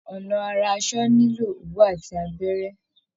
Ọnà ara asọ nílò òwú àti abẹ́rẹ́